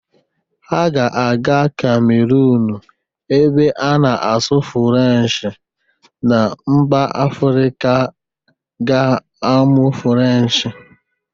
Ha ga-aga Kamerunu ebe a na-asụ Furencshị na mba Afịrịka ga-amuọ Furenshị.